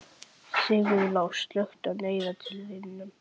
Sigurlás, slökktu á niðurteljaranum.